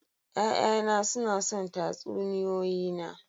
Ya'yana suna son tatsuniyoyi na.